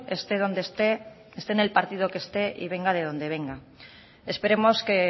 esté donde esté esté en el partido que esté y venga de donde venga esperemos que